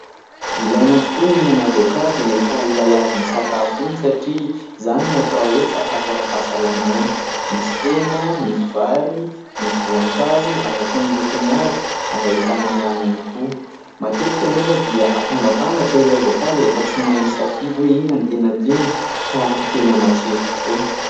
Ilaina tokoa ny mihinana voankazo rehefa avy misakafo iny satria izany ny atao hoe sakafo ara-pahasalama : misy hena, misy vary, misy voankazo araka ny lokony avy ary ahitana rano ihany koa. Matetika nefa dia hatambatambatra ilay voankazo rehefa tsy mahay misafidy hoe inona no tena tiany ka tena matsiro tokoa.